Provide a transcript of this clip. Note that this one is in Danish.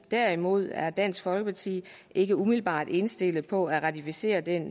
derimod er dansk folkeparti ikke umiddelbart indstillet på at ratificere den